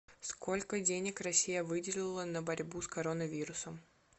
сколько денег россия выделила на борьбу с коронавирусом